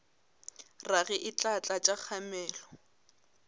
rage e tla tlatša kgamelo